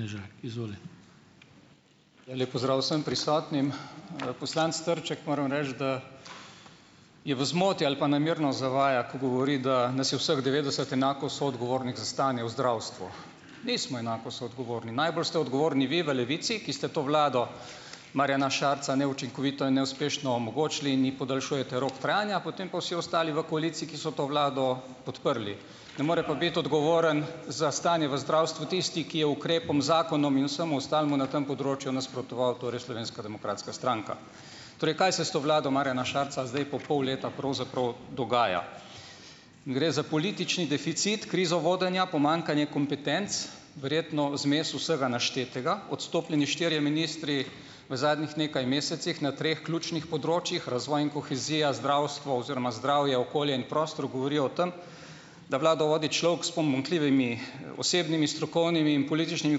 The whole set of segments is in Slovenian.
Lep pozdrav vsem prisotnim! Poslanec Trček, moram reči, da je v zmoti ali pa namerno zavaja, ko govori, da nas je vseh devetdeset enako soodgovornih za stanje v zdravstvu. Nismo enako soodgovorni. Najbolj ste odgovorni vi v Levici, ki ste to vlado Marjana Šarca neučinkovito in neuspešno omogočili in ji podaljšujete rok trajanja, potem pa vsi ostali v koaliciji, ki so to vlado podprli, ne more pa biti odgovoren za stanje v zdravstvu tisti, ki je ukrepom, zakonom in vsemu ostalemu na tem področju nasprotoval, torej Slovenska demokratska stranka. Torej kaj se s to vlado Marjana Šarca zdaj po pol leta pravzaprav dogaja. Gre za politični deficit, krizo vodenja, pomanjkanja kompetenc, verjetno zmes vsega naštetega, odstopljeni štirje ministri v zadnjih nekaj mesecih na treh ključnih področjih, razvoj in kohezija, zdravstvo oziroma zdravje, okolje in prostor govorijo o tem, da vlado vodi človek s pomanjkljivimi osebnimi strokovnimi in političnimi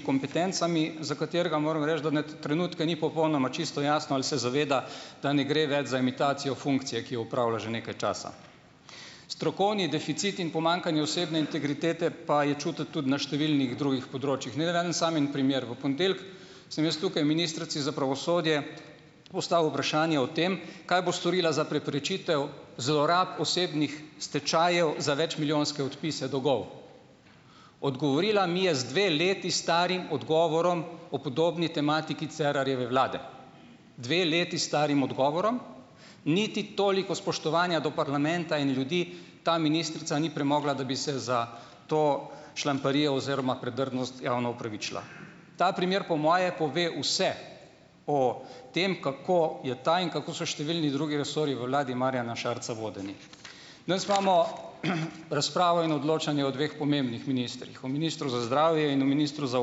kompetencami, za katerega moram reči, da mi na trenutke ni popolnoma čisto jasno, ali se zaveda, da ne gre več za imitacijo funkcije, ki jo opravlja že nekaj časa. Strokovni deficit in pomanjkanje osebne integritete pa je čutiti tudi na številnih drugih področjih. Naj navedem samo en primer. V ponedeljek sem jaz tukaj ministrici za pravosodje postavil vprašanje o tem, kaj bo storila za preprečitev zlorab osebnih stečajev za večmilijonske odpise dolgov. Odgovorila mi je z dve leti starim odgovorom o podobni tematiki Cerarjeve vlade. Dve leti starim odgovorom. Niti toliko spoštovanja do parlamenta in ljudi ta ministrica ni premogla, da bi se za to šlamparijo oziroma predrznost javno opravičila. Ta primer po moje pove vse o tem, kako je ta in kako so številni drugi resorji v vladi Marjana Šarca vodeni. Danes imamo, razpravo in odločanje o dveh pomembnih ministrih. O ministru za zdravje in o ministru za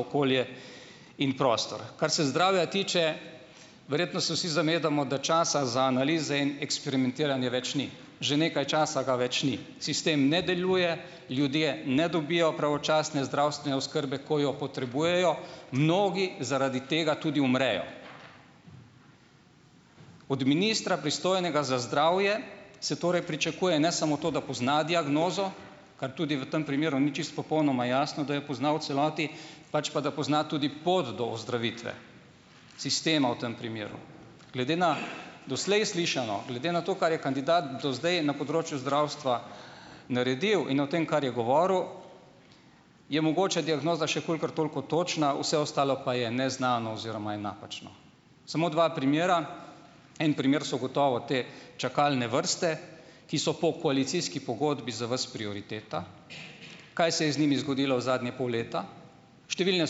okolje in prostor. Kar se zdravja tiče, verjetno se vsi zavedamo, da časa za analize in eksperimentiranje več ni, že nekaj časa ga več ni. Sistem ne deluje, ljudje ne dobijo pravočasne zdravstvene oskrbe, ko jo potrebujejo mnogi, zaradi tega tudi umrejo. Od ministra, pristojnega za zdravje, se torej pričakuje ne samo to, da pozna diagnozo, kar tudi v tem primeru ni čisto popolnoma jasno, da jo pozna v celoti, pač pa da pozna tudi pot do ozdravitve sistema v tem primeru. Glede na doslej slišano, glede na to, kar je kandidat do zdaj na področju zdravstva naredil, in o tem, kar je govoril, je mogoče diagnoza še kolikor toliko odtočna, vse ostalo pa je neznano oziroma je napačno. Samo dva primera. En primer so gotovo te čakalne vrste, ki so po koalicijski pogodbi za vas prioriteta. Kaj se je z njimi zgodilo v zadnje pol leta? Številne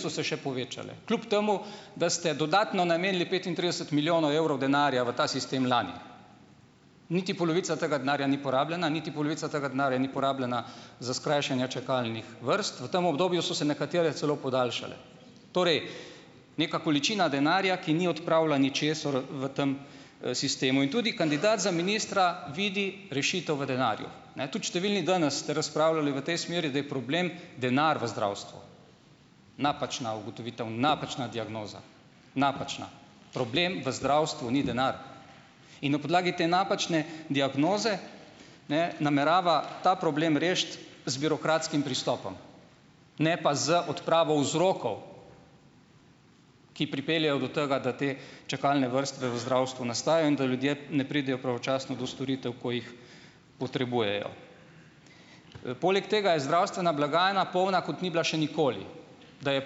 so se še povečale kljub temu, da ste dodatno namenili petintrideset milijonov evrov denarja v ta sistem lani. Niti polovica tega denarja ni porabljena, niti polovica tega denarja ni porabljena za skrajšanje čakalnih vrst. V tem obdobju so se nekatere celo podaljšale. Torej, neka količina denarja, ki ni odpravila ničesar v tem, sistemu. In tudi kandidat za ministra vidi rešitev v denarju. Ne, tudi številni danes ste razpravljali v tej smeri, da je problem denar v zdravstvu. Napačna ugotovitev, napačna diagnoza. Napačna. Problem v zdravstvu ni denar. In na podlagi te napačne diagnoze ne namerava ta problem rešiti z birokratskim pristopom, ne pa z odpravo vzrokov, ki pripeljejo do tega, da te čakalne vrste v zdravstvu nastajajo in da ljudje ne pridejo pravočasno do storitev, ko jih potrebujejo. Poleg tega je zdravstvena blagajna polna, kot ni bila še nikoli. Da je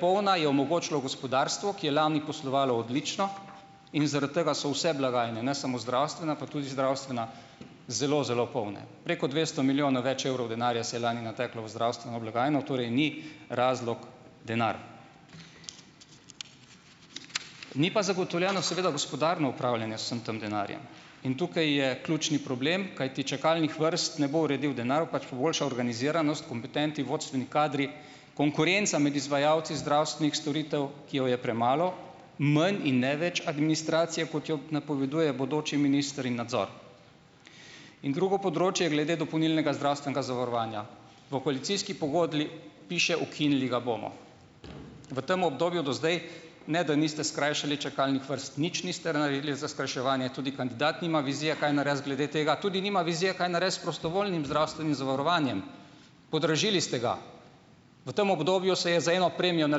polna, je omogočilo gospodarstvo, ki je lani poslovalo odlično, in zaradi tega so vse blagajne, ne samo zdravstvena, ampak tudi zdravstvena, zelo, zelo polna. Preko dvesto milijonov več evrov denarja se je lani nateklo v zdravstveno blagajno, torej ni razlog denar. Ni pa zagotovljeno seveda gospodarno upravljanje z vsem tem denarjem in tukaj je ključni problem, kajti čakalnih vrst ne bo uredil denar, pač pa boljša organiziranost, kompetentni, vodstveni kadri, konkurenca med izvajalci zdravstvenih storitev, ki je je premalo. Manj in ne več administracije, kot je napoveduje bodoči minister, in nadzor. In drugo področje glede dopolnilnega zdravstvenega zavarovanja. V koalicijski pogodbi piše: "Ukinili ga bomo." V tem obdobju do zdaj, ne, da niste skrajšali čakalnih vrst, nič niste naredili za skrajševanje, tudi kandidat nima vizije, kaj narediti glede tega, tudi nima vizije, kaj narediti s prostovoljnim zdravstvenim zavarovanjem. Podražili ste ga. V tem obdobju se je za eno premijo na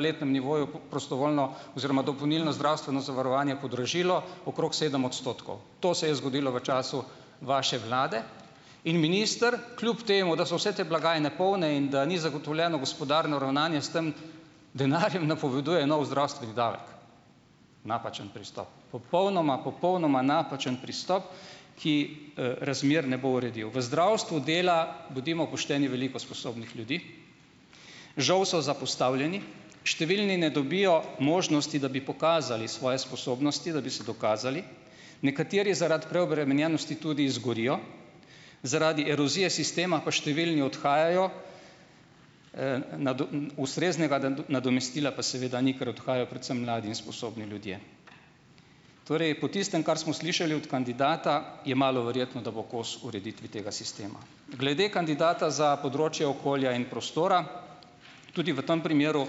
letnem nivoju prostovoljno oziroma dopolnilno zdravstveno zavarovanje podražilo okrog sedem odstotkov. To se je zgodilo v času vaše vlade. In minister kljub temu, da so vse te blagajne polne in da ni zagotovljeno gospodarno ravnanje s tem denarjem, napoveduje nov zdravstveni davek. Napačen pristop, popolnoma, popolnoma napačen pristop, ki, razmer ne bo uredil. V zdravstvu dela, bodimo pošteni, veliko sposobnih ljudi. Žal so zapostavljeni, številni ne dobijo možnosti, da bi pokazali svoje sposobnosti, da bi se dokazali. Nekateri zaradi preobremenjenosti tudi izgorijo, zaradi erozije sistema pa številni odhajajo, ustreznega nadomestila pa seveda ni, ker odhajajo predvsem mladi in sposobni ljudje. Torej, po tistem, kar smo slišali od kandidata, je malo verjetno, da bo kos ureditvi tega sistema. Glede kandidata za področje okolja in prostora. Tudi v tem primeru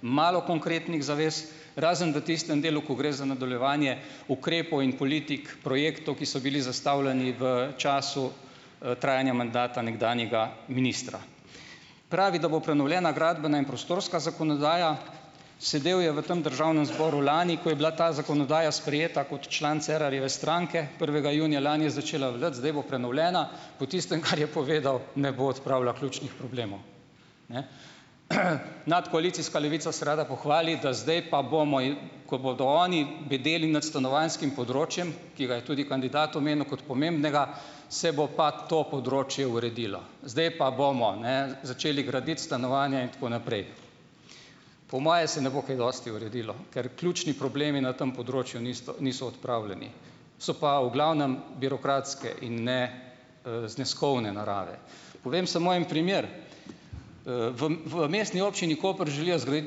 malo konkretnih zavez. Razen v tistem delu, ko gre za nadaljevanje ukrepov in politik projektov, ki so bili zastavljeni v času, trajanja mandata nekdanjega ministra. Pravi, da bo prenovljena gradbena in prostorska zakonodaja. Sedel je v tem državnem zboru lani, ko je bila ta zakonodaja sprejeta, kot član Cerarjeve stranke. Prvega junija lani je začela veljati, zdaj bo prenovljena. Po tistem, kar je povedal, ne bo odpravila ključnih problemov. Nadkoalicijska Levica se rada pohvali, da zdaj pa bomo, ko bodo oni bedeli nad stanovanjskim področjem, ki ga je tudi kandidat omenil kot pomembnega, se bo pa to področje uredilo. Zdaj pa bomo, ne, začeli graditi stanovanja in tako naprej. Po moje se ne bo kaj dosti uredilo. Ker ključni problemi na tem področju nisto, niso odpravljeni. So pa v glavnem birokratske in ne, zneskovne narave. Povem samo en primer. V Mestni občini Koper želijo zgraditi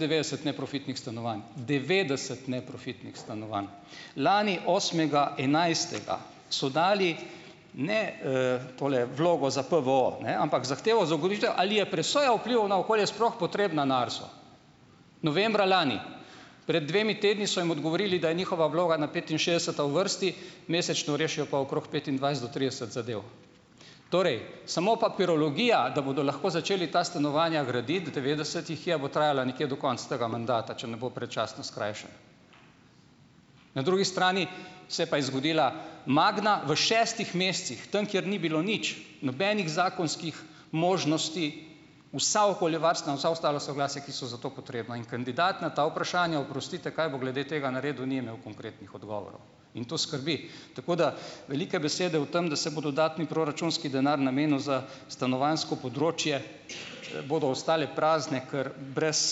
devetdeset neprofitnih stanovanj. Devetdeset neprofitnih stanovanj. Lani, osmega enajstega so dali, ne, tole vlogo za PVO, ampak zahtevo za ugotovitev, ali je presoja vplivov na okolje sploh potrebna na ARSU. Novembra lani. Pred dvema tednoma so jim odgovorili, da je njihova vloga na petinšestdeseta v vrsti, mesečno rešijo pa okrog petindvajset do trideset zadev. Torej, samo papirologija, da bodo lahko začeli ta stanovanja graditi devetdeset jih je, bo trajala nekje do konca tega mandata, če ne bo predčasno skrajšan. Na drugi strani se pa je zgodila Magna v šestih mesecih. Tam, kjer ni bilo nič. Nobenih zakonskih možnosti, vsa okoljevarstvena in vsa ostala soglasja, ki so za to potrebna. In kandidat na ta vprašanja, oprostite, kaj bo glede tega naredil, ni imel konkretnih odgovorov. In to skrbi. Tako da velike besede o tem, da se bo dodatni proračunski denar namenil za stanovanjsko področje, bodo ostale prazne, ker brez,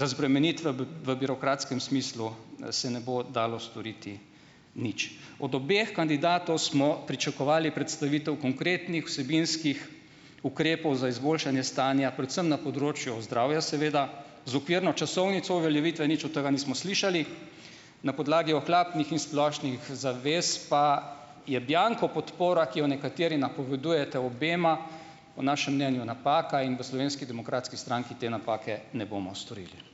razbremenitve v birokratskem smislu se ne bo dalo storiti nič. Od obeh kandidatov smo pričakovali predstavitev konkretnih vsebinskih ukrepov za izboljšanje stanja, predvsem na področju zdravja, seveda, z okvirno časovnico uveljavitve, nič od tga nismo slišali. Na podlagi ohlapnih in splošnih zavez pa je bianco podpora, ki jo nekateri napovedujete obema, po našem mnenju napaka in v Slovenski demokratski stranki te napake ne bomo storili.